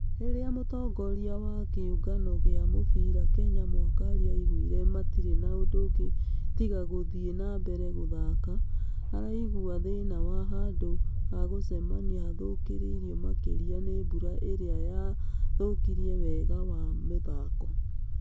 Rĩrĩa mũtongoria wa kĩũngano gĩa mũbira kenya mwakali augire matirĩ na ũndũngĩ tiga gũthiĩ nambere gũthaka. Araigua thĩna wa handũ ha gũcemania hathũkĩrĩ-irio makĩria nĩ mbura ĩrĩa ya thũkiriewega wa mũthako.